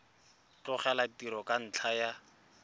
tlogela tiro ka ntlha ya